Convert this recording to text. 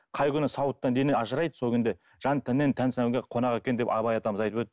қай күні сауыттан дене ажырайды сол күнде жан тәннен тән қонақ екен деп абай атамыз айтып